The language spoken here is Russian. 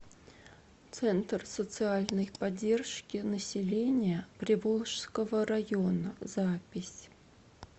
центр социальной поддержки населения приволжского района запись